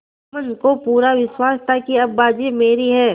जुम्मन को पूरा विश्वास था कि अब बाजी मेरी है